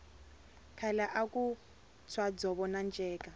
khale aku tshwa dzovo na nceka